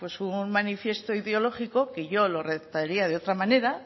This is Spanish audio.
un manifiesto ideológico que yo lo redactaría de otra manera